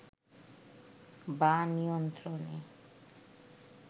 বা নিয়ন্ত্রণে